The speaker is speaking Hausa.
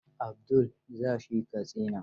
Abdul za shi Katsina.